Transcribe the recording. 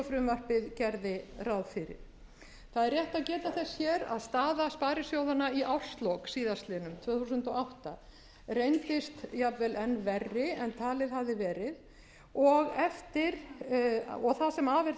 frumvarpið gerði ráð fyrir það er rétt að geta þess hér að staða sparisjóðanna í árslok síðastliðin tvö þúsund og átta reyndist jafnvel enn verri en talið hafði verið og það sem af er þessu